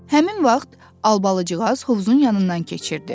Həmin vaxt albalıcığaz hovuzun yanından keçirdi.